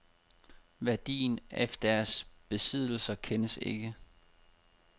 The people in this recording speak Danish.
Værdien af deres besiddelser kendes ikke.